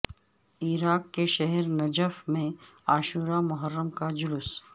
عراق کے شہر نجف میں عاشورہ محرم کا جلوس